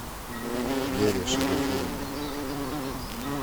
лере шарифуллине